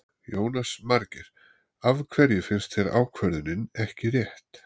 Jónas Margeir: Af hverju finnst þér ákvörðunin ekki rétt?